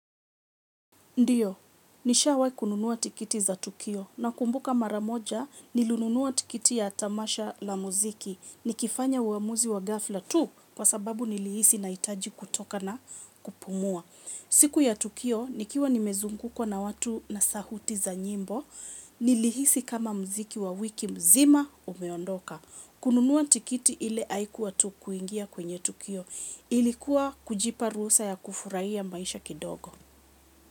Ndiyo, nishawahi kununua tikiti za Tukio na kumbuka mara moja nilinunua tikiti ya tamasha la muziki. Nikifanya uamuzi wa gafla tu kwa sababu nilihisi nahitaji kutoka na kupumua. Siku ya Tukio, nikiwa nimezungukwa na watu na sauti za nyimbo, nilihisi kama muziki wa wiki mzima umeondoka. Kununua tikiti ile haikuwa tu kuingia kwenye Tukio. Ilikuwa kujipa ruhusa ya kufurahia maisha kidogo.